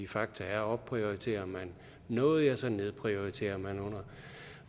faktum er at opprioriterer man noget ja så nedprioriterer man